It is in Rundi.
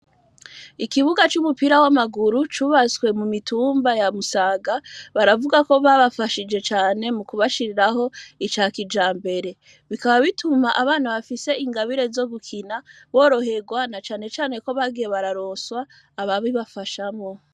Ikibuga c'umupira w'amaguru cubatswe mu mitumba ya Musaga, baravuga ko babafashije cane mukubashiriraho ica kijambere, bikaba bituma abana bafise ingabire zo gukina boroherwa na cane cane ko bagiye bararonswa ababibafashamwo.